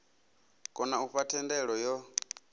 kona u fha thendelo yo